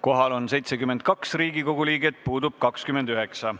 Kohal on 72 Riigikogu liiget, puudub 29.